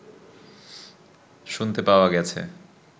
শুনতে পাওয়া গেছে